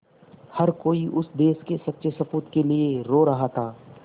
हर कोई उस देश के सच्चे सपूत के लिए रो रहा था